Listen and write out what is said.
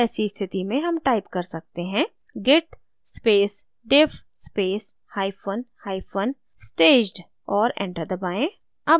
ऐसी स्थिति में हम type कर सकते हैं git space diff space hyphen hyphen staged और enter दबाएँ